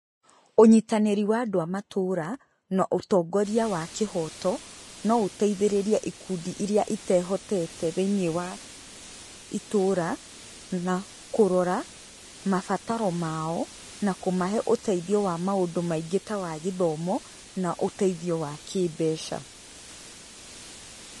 Ũnyitanĩri wa andũ a matũra, na ũtongoria wa kĩhoto, no ũteithĩrĩrie ikundi iria itehotete thĩinĩ wa itũra, na kũrora, mabataro mao, na kũmahe ũteithio wa maũndũ maingĩ ta wa gĩthomo, na ũteithio wa kĩmbeca.